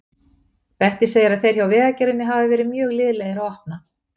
Bettý segir að þeir hjá Vegagerðinni hafi verið mjög liðlegir að opna.